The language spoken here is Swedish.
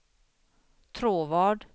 Tråvad